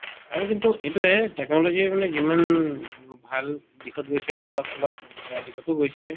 আৰু কিন্তু এইটোয়ে technology মানে যিমান ভাল দিশত গৈছে অলপ চলপ বেয়া দিশতো গৈছে